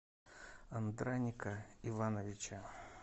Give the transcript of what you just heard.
андраника ивановича